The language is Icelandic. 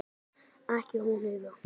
Ekki hún Heiða.